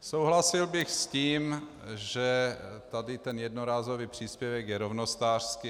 Souhlasil bych s tím, že tady ten jednorázový příspěvek je rovnostářský.